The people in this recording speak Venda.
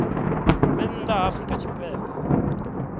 vhe nnḓa ha afrika tshipembe